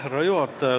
Härra juhataja!